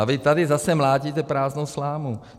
A vy tady zase mlátíte prázdnou slámu.